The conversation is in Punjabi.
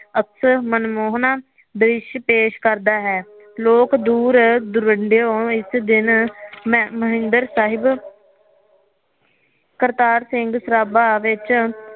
ਅਕਸਰ ਮਨਮੋਹਨਾ ਦ੍ਰਿਸ਼ ਪੇਸ਼ ਕਰਦਾ ਹੈ ਲੋਕ ਦੂਰ ਦੋਰਿੰਦਿਉ ਇਸ ਦਿਨ ਹਰਮੰਦਰ ਸਾਹਿਬ ਕਰਤਾਰ ਸਿੰਘ ਸਰਾਭਾ ਵਿਚ